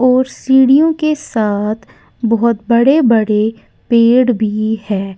और सीढ़ियों के साथ बहुत बड़े बड़े पेड़ भी है।